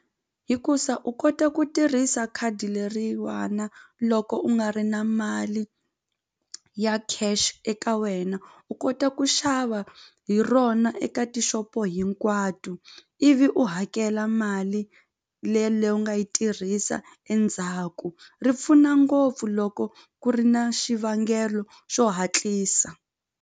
Hikusa u kote ku tirhisa khadi leriwana loko u nga ri na mali ya cash eka wena u kota ku xava hi rona eka tixopo hinkwato ivi u hakela mali leyi u nga yi tirhisa endzhaku ri pfuna ngopfu loko ku ri na xivangelo xo hatlisa.